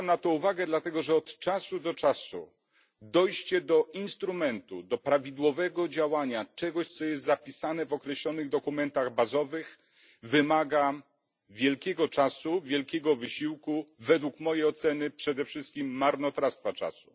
Zwracam na to uwagę dlatego, że od czasu do czasu dojście do instrumentu, do prawidłowego działania czegoś, co jest zapisane w określonych dokumentach bazowych, wymaga wiele czasu, wielkiego wysiłku według mojej oceny przede wszystkim marnotrawstwa czasu.